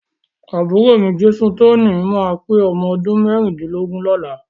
Àbúrò mi, Jesutoni ma pé ọmọdún mẹ́rìndínlógún lọ́la.